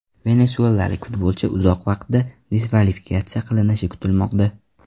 Venesuelalik futbolchi uzoq vaqtda diskvalifikatsiya qilinishi kutilmoqda.